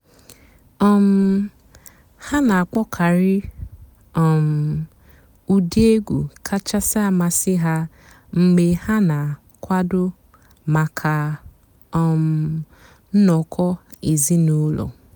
um há nà-àkpọ́kàrị́ um ụ́dị́ ègwú kàchàsị́ àmásị́ há mg̀bé há nà-àkwàdó màkà um ǹnọ́kọ̀ èzínụ́lọ́.